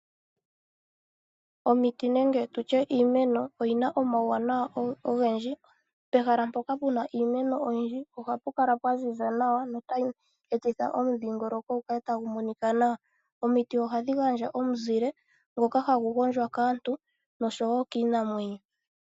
Omiti nenge tutye iimeno oyina omawu wanawa ogendji. Pehala mpoka puna iimeno oyindji ohapu kala pwa ziza nawa notayi etitha omudhingoloko gukale tagu monika nawa. Omiti ohadhi gandja omuzile ngaka hagu gondjwa kaantu noshowo kiinamwenyo.